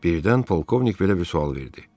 Birdən polkovnik belə bir sual verdi: